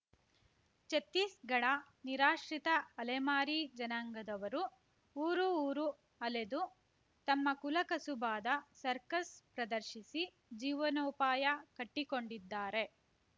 ಛತ್ತೀಸ್‌ಘಡ ನಿರಾಶ್ರಿತ ಅಲೆಮಾರಿ ಜನಾಂಗದವರು ಊರು ಊರು ಅಲೆದು ತಮ್ಮ ಕುಲ ಕಸುಬಾದ ಸರ್ಕಸ್‌ ಪ್ರದರ್ಶಿಸಿ ಜೀವನೋಪಾಯ ಕಟ್ಟಿಕೊಂಡ್ಡಿದ್ದಾರೆ